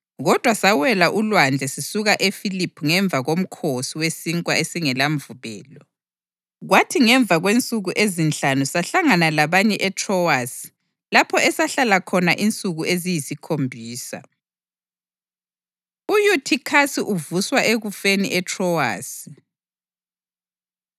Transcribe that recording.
Kodwa sawela ulwandle sisuka eFiliphi ngemva koMkhosi weSinkwa esingelaMvubelo, kwathi ngemva kwensuku ezinhlanu sahlangana labanye eTrowasi lapho esahlala khona insuku eziyisikhombisa. UYuthikhasi Uvuswa Ekufeni ETrowasi